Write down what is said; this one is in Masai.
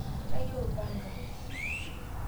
Kayieu lpanga